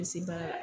Bɛ se baara la